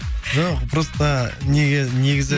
жоқ просто неге негізі